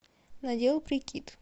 надел прикид